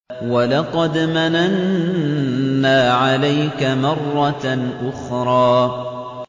وَلَقَدْ مَنَنَّا عَلَيْكَ مَرَّةً أُخْرَىٰ